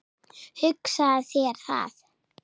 Hugsaðu þér það!